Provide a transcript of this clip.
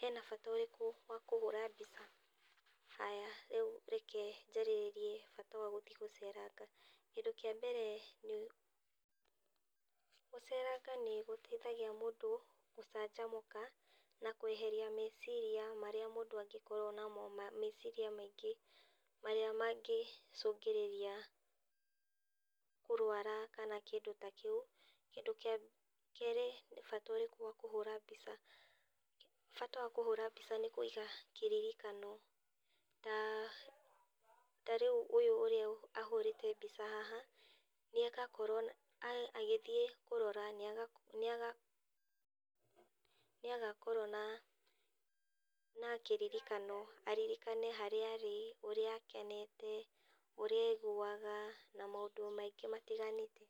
hena bata ũrĩkũ wa kũhũra mbica, haya, rĩu reke njarĩrĩrie bata wa gũthiĩ gũceranga. Kĩndũ kĩa mbere, nĩũ, gũceranga nĩgũtũteithagia mũndũ, gũcanjamũka, na kweheria meciria marĩa mũndũ anĩkorwo na meciria maingĩ marĩa mangĩcũngĩrĩria, kũrũara kana kĩndũ ta kĩu, kĩndũ kĩa, kerĩ nĩ bata ũrĩkũ wa kũhũra mbica, bata wa kũhũra mbica nĩ kũiga kĩririkano, tarĩu ũyũ ũrĩa ahũrĩte mbica haha, nĩakakorwo, agĩthiĩ kurora nĩagakorwo na kĩririkano, aririkane harĩa arĩ, ũrĩa akenete, ũrĩa aiguaga, na maũndú maingĩ matiganĩte.